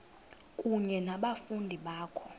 kunye nabafundi bakho